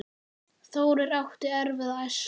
Þórir átti erfiða æsku.